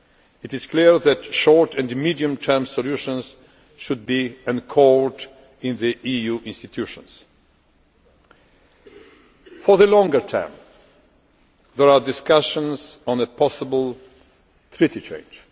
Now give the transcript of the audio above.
It is clear that short and medium term solutions should be anchored in the EU institutions. For the longer term, there are discussions on a possible Treaty change.